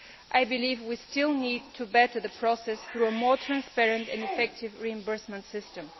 I believe we still need to improve the process through a more transparent and effective reimbursement system.